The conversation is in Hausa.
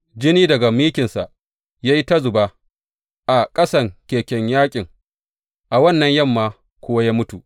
Jini daga mikinsa ya yi ta zuba a ƙasan keken yaƙin, a wannan yamma kuwa ya mutu.